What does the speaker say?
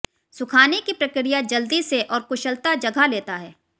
सुखाने की प्रक्रिया जल्दी से और कुशलता जगह लेता है